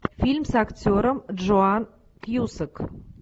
фильм с актером джоан кьюсак